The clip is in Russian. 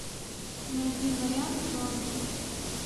найди вариант зомби